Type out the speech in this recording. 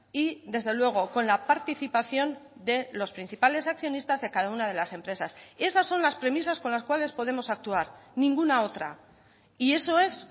y desde luego con la participación de los principales accionistas de cada una de las empresas y esas son las premisas con las cuales podemos actuar ninguna otra y eso es